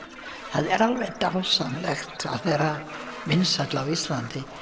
það er alveg dásamlegt að vera vinsæll á Íslandi